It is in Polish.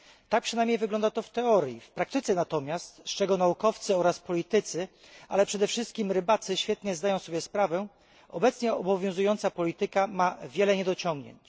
Tak przynajmniej wygląda to w teorii. W praktyce natomiast, z czego naukowcy oraz politycy, ale przede wszystkim rybacy, świetnie zdają sobie sprawę, obecnie obowiązująca polityka ma wiele niedociągnięć.